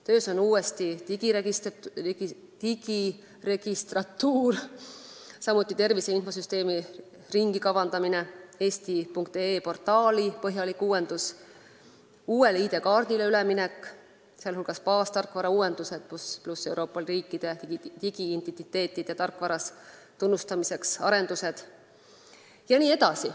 Töös on uuesti digiregistratuur, samuti tervise infosüsteemi ringikavandamine, portaali eesti.ee põhjalik uuendus, uuele ID-kaardile üleminek, sh baastarkvara uuendused pluss arendused Euroopa riikide digiintentiteetide tarkvaras tunnustamiseks jne.